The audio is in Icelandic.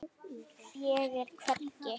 Ég er hvergi.